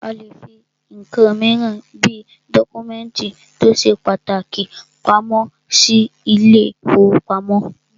A lè fí nǹkan míràn bí dọ́kúmẹ̀ntì tó ṣe pàtàkì pamọ́ sí ilé ìfọwọ́pamo.